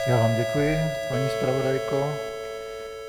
Já vám děkuji, paní zpravodajko.